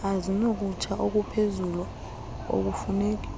ezinokutsha okuphezulu okufuneki